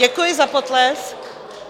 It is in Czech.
Děkuji za potlesk.